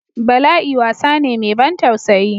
Bala'i wasa ne mai ban tausayi.